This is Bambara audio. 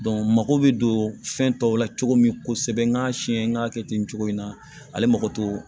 mago bɛ don fɛn tɔw la cogo min kosɛbɛ n'a siyɛn k'a kɛ ten cogo in na ale mako t'o